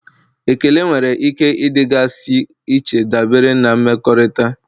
Ekele nwere ike ịdịgasị iche dabere na mmekọrịta.